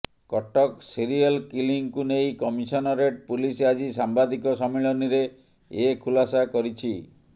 Cuttack serial କିଲିଂକୁ ନେଇ commissionerate police ଆଜି ସାମ୍ବାଦିକ ସମ୍ମିଳନୀରେ ଏ ଖୁଲାସା କରିଛି